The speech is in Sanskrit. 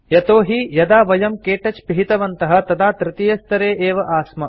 यतो हि यदा वयं के टच पिहितवन्तः तदा तृतीयस्तरे एव आस्म